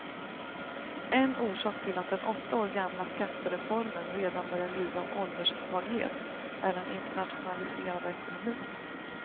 En orsak till att den åtta år gamla skattereformen redan börjar lida av ålderssvaghet är den internationaliserade ekonomin.